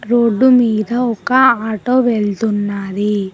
Road మీద ఒక auto వెళ్తున్నాది.